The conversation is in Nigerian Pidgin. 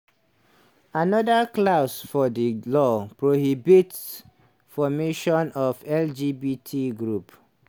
anoda clause for di law prohibit formation of lgbt groups.